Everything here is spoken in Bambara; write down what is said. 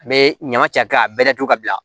An bɛ ɲama cɛ ka bɛrɛ t'u ka bila